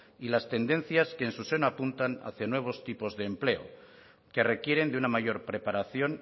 y las tendencias que en su seno apuntan hacia nuevos tipos de empleo que requieren de una mayor preparación